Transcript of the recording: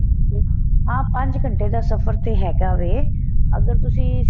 ਹਾਂ ਪੰਜ ਘੰਟੇ ਦਾ ਸਫ਼ਰ ਤੇ ਹੈਗਾ ਵੇ ਅਗਰ ਤੁਸੀਂ